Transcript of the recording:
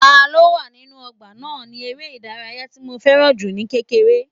Ta ló wà nínú ọgbà náà ni eré ìdárayá tí mo fẹ́ràn jù ní kékeré